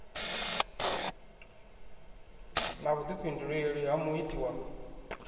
na vhuḓifhinduleli ha muiti wa